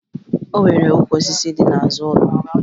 O nwere ukwu osisi dị n'azụ ụlọ m